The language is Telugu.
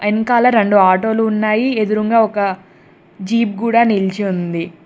వెనకాల రెండు ఆటోలు ఉన్నాయి ఎదురుంగా ఒక జీపు కూడా నిలిచి ఉంది.